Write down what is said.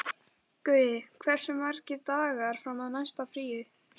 Gaui, hversu margir dagar fram að næsta fríi?